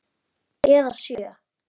Eða sjö.